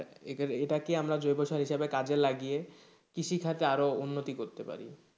এটা কি আমরা জৈব সার হিসেবে কাজে লাগিয়ে কৃষি খাতে আরো উন্নতি করতে পারি,